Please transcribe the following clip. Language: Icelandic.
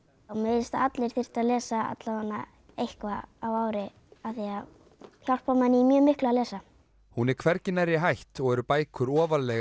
mér finnst að allir ættu að lesa allavega eitthvað á ári því það hjálpar manni í mjög miklu að lesa hún er hvergi nærri hætt og eru bækur ofarlega